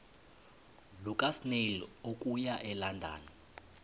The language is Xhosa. lukasnail okuya elondon